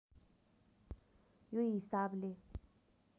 यो हिसाबले